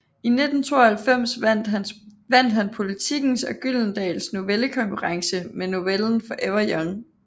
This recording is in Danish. I 1992 vandt han Politikens og Gyldendals novellekonkurrence med novellen Forever Young